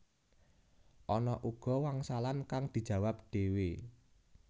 Ana uga wangsalan kang dijawab dhéwé